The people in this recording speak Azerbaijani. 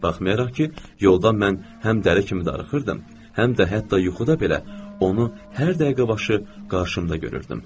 Baxmayaraq ki, yolda mən həm dəri kimi darıxırdım, həm də hətta yuxuda belə onu hər dəqiqə başı qarşımda görürdüm.